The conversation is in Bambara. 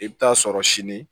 I bɛ taa sɔrɔ sini